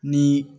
Ni